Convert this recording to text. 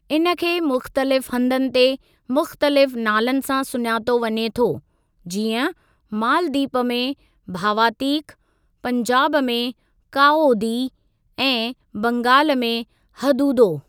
इन खे मुख़्तलिफ़ हंधनि ते मुख़्तलिफ़ नालनि सां सुञातो वञे थो जीअं मालदीप में 'भावातीक', पंजाब में 'काओदी' ऐं बंगालु में हदूदो।